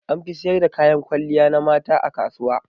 An fi siyar da kayan kwalliya na mata a kasuwa.